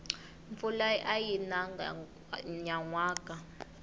mpfula ayi nanga nyanwaka